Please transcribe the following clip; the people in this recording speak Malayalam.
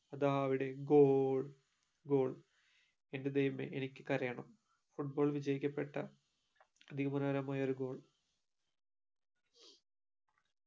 അതാ അവിടെ goal goal ന്റെ ദൈവമേ എനിക്ക് കരയണം foot ball വിജയ്കപെട്ട അതിമനോഹരമായൊരു goal